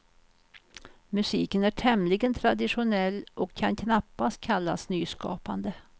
Musiken är tämligen traditionell och kan knappast kallas nyskapande.